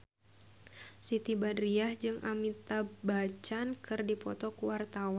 Siti Badriah jeung Amitabh Bachchan keur dipoto ku wartawan